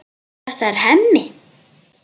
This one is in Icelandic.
Þetta er Hemmi.